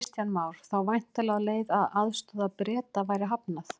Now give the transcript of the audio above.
Kristján Már: Þá væntanlega á þá leið að aðstoð Breta verði hafnað?